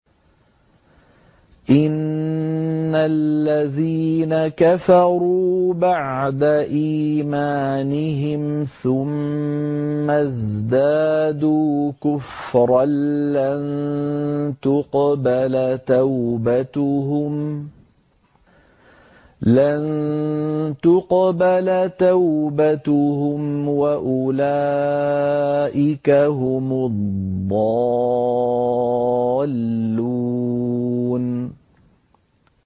إِنَّ الَّذِينَ كَفَرُوا بَعْدَ إِيمَانِهِمْ ثُمَّ ازْدَادُوا كُفْرًا لَّن تُقْبَلَ تَوْبَتُهُمْ وَأُولَٰئِكَ هُمُ الضَّالُّونَ